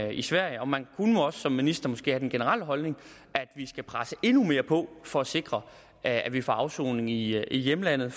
i sverige og man kunne nu også som minister måske have den generelle holdning at vi skal presse endnu mere på for at sikre at vi får afsoning i hjemlandet